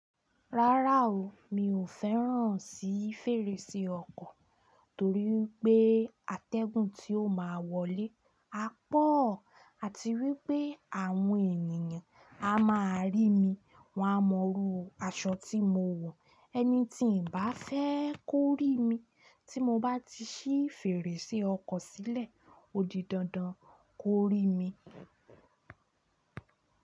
Rárá o, mi ò fẹ́ràn sí fèrèsé ọkọ̀ torí pé atẹ́gùn tí ó máa wọlé á pọ̀ àti wípé àwọn ènìyàn á máa rí mi, wọ́n á mọru aṣọ tí mo wọ̀, ẹni tí ǹ bá fẹ́ kó rí mi tí mo bá ti ṣí fèrèsé ọkọ̀ sílẹ̀, ó di dandan kó rí mi.